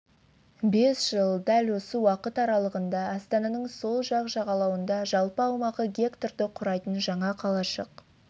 бес жыл дәл осы уақыт аралығында астананың сол жақ жағалауында жалпы аумағы гектарды құрайтын жаңа қалашық